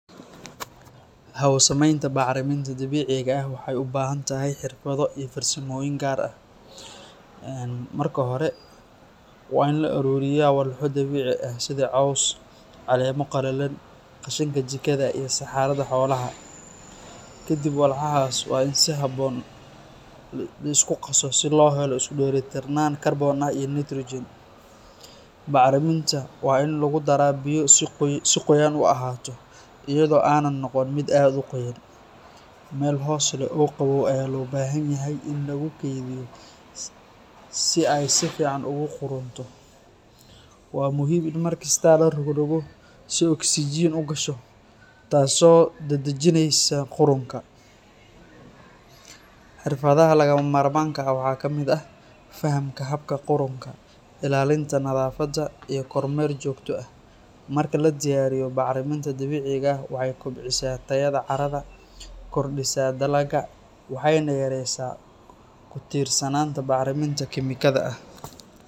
Hawo-samaynta bacriminta dabiiciga ah waxay u baahan tahay xirfado iyo farsamooyin gaar ah. Marka hore, waa in la ururiyaa walxo dabiici ah sida caws, caleemo qalalan, qashinka jikada, iyo saxarada xoolaha. Kadib, walxahaas waa in si habboon loo isku qaso si loo helo isku dheelitirnaan kaarboon iyo nitrogen. Bacriminta waa in lagu daraa biyo si qoyaan u ahaato, iyadoo aanay noqon mid aad u qoyan. Meel hoos leh oo qabow ayaa loo baahan yahay in lagu kaydiyo si ay si fiican ugu qudhunto. Waa muhiim in mar kasta la rogroggo si oksijiin u gasho, taasoo dedejinaysa qudhunka. Xirfadaha lagama maarmaanka ah waxaa ka mid ah fahamka habka qudhunka, ilaalinta nadaafadda, iyo kormeer joogto ah. Marka la diyaariyo, bacriminta dabiiciga ah waxay kobcisaa tayada carrada, kordhisaa dalagga, waxayna yaraysaa ku-tiirsanaanta bacriminta kiimikada ah.